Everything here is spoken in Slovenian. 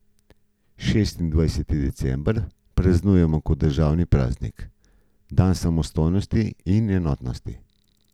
Šestindvajseti december praznujemo kot državni praznik, dan samostojnosti in enotnosti.